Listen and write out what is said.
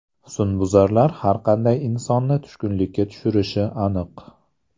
Husnbuzarlar har qanday insonni tushkunlikka tushirishi aniq.